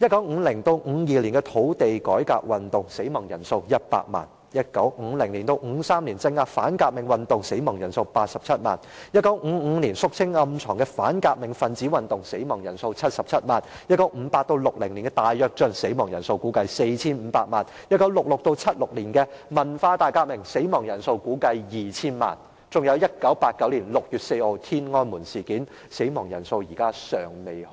1950年至1952年的土地改革運動，死亡人數100萬 ；1950 年至1953年的鎮壓反革命運動，死亡人數87萬 ；1955 年肅清暗藏的反革命分子運動，死亡人數77萬 ；1958 年至1960年的大躍進，死亡人數估計為 4,500 萬 ；1966 年至1976年的文化大革命，死亡人數估計為 2,000 萬；以及1989年6月4日的天安門事件，死亡人數至今未明。